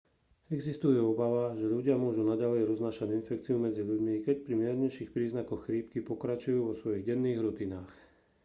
existuje obava že ľudia môžu naďalej roznášať infekciu medzi ľuďmi keď pri miernejších príznakoch chrípky pokračujú vo svojich denných rutinách